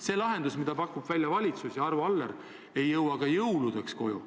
See lahendus, mida pakuvad välja valitsus ja Arvo Aller, ei jõua ka jõuludeks koju.